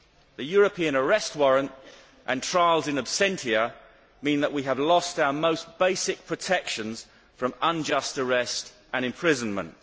The European arrest warrant and trials in absentia mean that we have lost our most basic protections from unjust arrest and imprisonment.